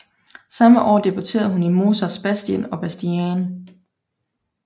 Samme år debuterede hun i Mozarts Bastien og Bastienne